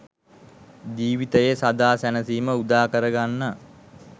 ජීවිතයේ සදා සැනසීම උදාකර ගන්න.